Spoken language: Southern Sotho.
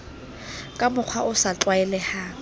ka mokgwa o sa tlwaelehang